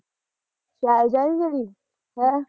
ਸ਼ੈਲਜਾ ਨੀ ਦੀਦੀ ਹੈਂ